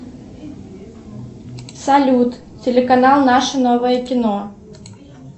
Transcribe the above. салют телеканал наше новое кино